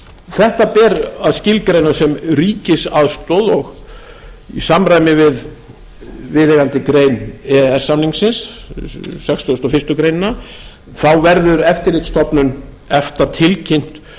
þetta ber að skilgreina sem ríkisaðstoð og í samræmi við viðeigandi grein e e s samningsins sextugustu og fyrstu grein þá verður eftirlitsstofnun efta tilkynnt